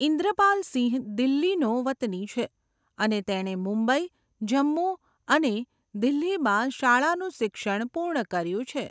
ઇન્દ્રપાલ સિંહ દિલ્હીનો વતની છે, અને તેણે મુંબઈ, જમ્મુ, અને દિલ્હીમાં શાળાનું શિક્ષણ પૂર્ણ કર્યું છે.